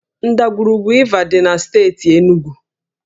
Ndagwurugwu Iva dị na steeti Enugwu